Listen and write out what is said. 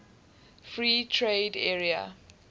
free trade area